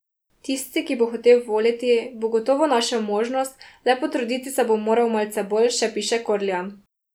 Tisti, ki bo hotel voliti, bo gotovo našel možnost, le potruditi se bo moral malce bolj, še piše Korljan.